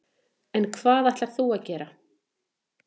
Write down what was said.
En hvað ætlar þú að gera?